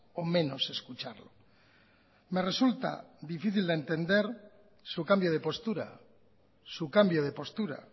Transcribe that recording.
o menos escucharlo me resulta difícil de entender su cambio de postura su cambio de postura